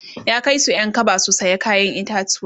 ya Kai Su Ƴan kaba du saya kayan itatauwa